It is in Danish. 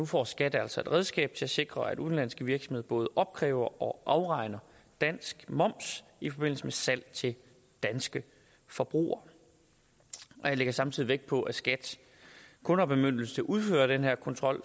får skat altså et redskab til at sikre at udenlandske virksomheder både opkræver og afregner dansk moms i forbindelse med salg til danske forbrugere jeg lægger samtidig vægt på at skat kun har bemyndigelse til at udføre den her kontrol